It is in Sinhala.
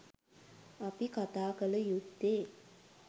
අපි කතාකල යුත්තේ